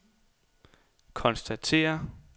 konstatere